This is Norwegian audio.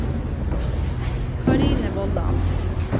Karine Vollan